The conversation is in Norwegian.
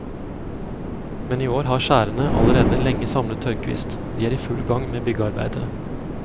Men i år har skjærene allerede lenge samlet tørrkvist, de er i full gang med byggearbeidet.